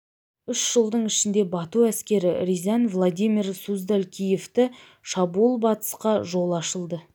үш жылдың ішінде бату әскері рязань владимир суздаль киевті шауып батысқа жол ашылды